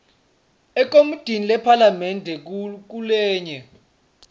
ekomitini lephalamende ngulenye